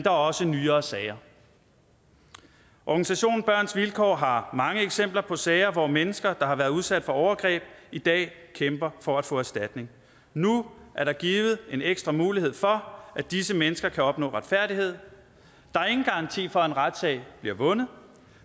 er også nyere sager organisationen børns vilkår har mange eksempler på sager hvor mennesker der har været udsat for overgreb i dag kæmper for at få erstatning nu er der givet en ekstra mulighed for at disse mennesker kan opnå retfærdighed der er ingen garanti for at en retssag bliver vundet